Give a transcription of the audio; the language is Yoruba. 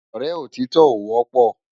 Òrè ótitò ó wòpò